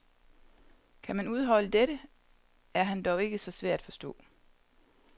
Kan man udholde dette, er han dog ikke så svær at forstå.